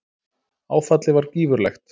Áfallið var gífurlegt.